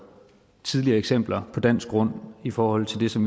tidligere eksempler på dansk grund i forhold til det som